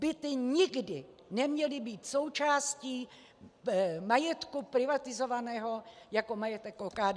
Byty nikdy neměly být součástí majetku privatizovaného jako majetek OKD.